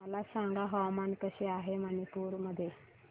मला सांगा हवामान कसे आहे मणिपूर मध्ये